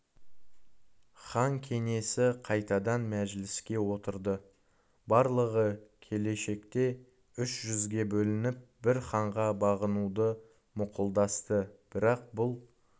хан кеңесі қайтадан мәжіліске отырды барлығы келешекте үш жүзге бөлініп бір ханға бағынуды мақұлдасты бірақ бұл